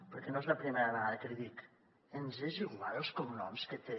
perquè no és la primera vegada que l’hi dic ens és igual els cognoms que té